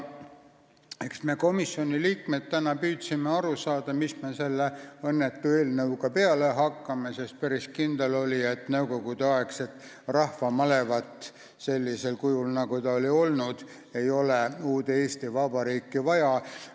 Eks me komisjoni liikmetena püüdsime aru saada, mis me selle õnnetu eelnõuga peale hakkame, sest päris kindel oli, et nõukogudeaegset rahvamalevat sellisel kujul, nagu see oli olnud, ei ole uude Eesti Vabariiki vaja.